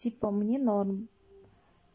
типа мне норм